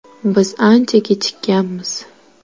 Biz ancha kechikkanmiz.